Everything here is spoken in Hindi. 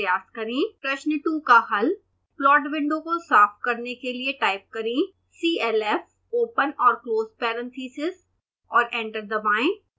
प्रश्न 2 का हल